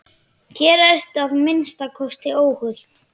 Hér ertu að minnsta kosti óhult.